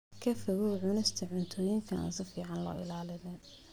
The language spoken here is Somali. Ka fogow cunista cuntooyinka aan si fiican loo ilaalin.